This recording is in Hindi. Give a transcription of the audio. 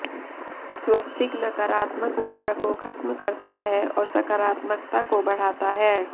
स्वस्तिक नकारात्मक ऊर्जा को खत्म करता है और सकारात्मकता को बढ़ाता है